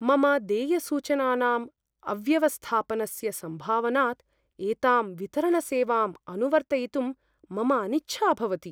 मम देयसूचनानां अव्यवस्थापनस्य सम्भावनात् एतां वितरणसेवाम् अनुवर्तयितुं मम अनिच्छा भवति।